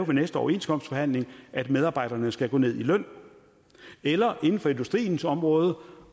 næste overenskomstforhandling vil at medarbejderne skal gå ned i løn eller inden for industriens område